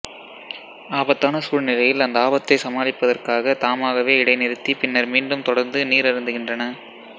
ஆபத்தான சூழ்நிலையில் அந்த ஆபத்தைச் சமாளிப்பதற்காக தாமாகவே இடைநிறுத்தி பின்னர் மீண்டும் தொடர்ந்து நீர் அருந்துகின்றன